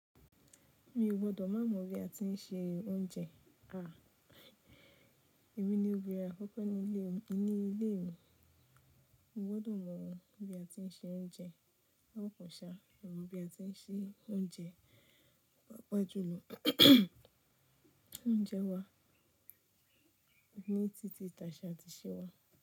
Mi o gbọ́dọ̀ má mọ bí a tí ń ṣe oúnjẹ. Èmi ni òbírin àkókò ní ilé, ní ilé mi. Mo gbọ́dọ̀ mọ bí a tí ń ṣe oúnjẹ. Wọ́n ko ṣe, mo mo bí a tí ń ṣe oúnjẹ paapa jùlọ. Oúnjẹ wa ní títí tàṣa àti iṣẹ́ wà.